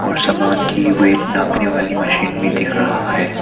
और सामान की वेट नापने वाली मशीन भी दिख रहा है।